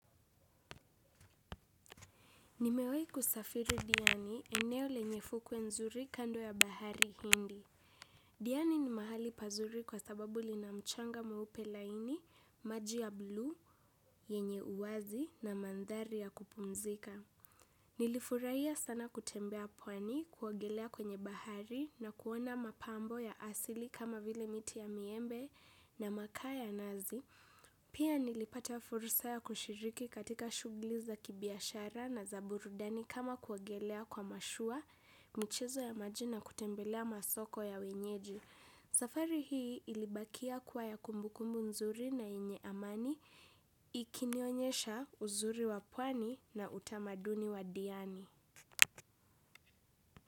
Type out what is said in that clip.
Nimewahiku safiri diani eneo lenyefukwe nzuri kando ya bahari hindi. Diani ni mahali pazuri kwa sababu li namchanga mweupelaini, maji ya blu, yenye uwazi na mandhari ya kupumzika. Nilifurahiya sana kutembea pwani, kuogelea kwenye bahari na kuona mapambo ya asili kama vile miti ya miembe na makaa ya nazi. Pia nilipata fursa ya kushiriki katika shughuliza kibiashara na zaburudani kama kuogelea kwa mashua, michezo ya majina kutembelea masoko ya wenyeji. Safari hii ilibakia kuwa ya kumbukumbu nzuri na yenye amani ikinionyesha uzuri wapwani na utamaduni wadiani.